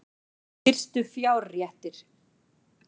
Fyrstu fjárréttir